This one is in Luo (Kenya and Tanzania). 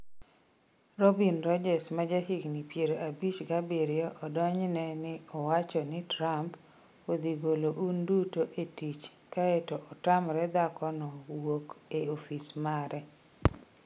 Robin Rhodes ma jahigni piero abich gabiriyo odonjne ni owacho ni Trump...odhi golo un duto e tich kae to otamre dhako no wuok e ofis mare.